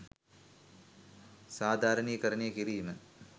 සාධාරණීකරණය කිරීම.